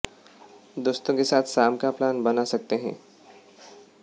दोस्तों के साथ शाम का प्लान बना सकते हैं